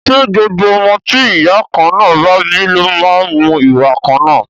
Ṣé gbogbo ọmọ tí ìyá kan náà bá bí ló má ń mú ìwà kan náà?